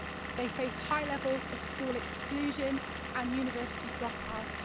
They face high levels of school exclusion and university dropout.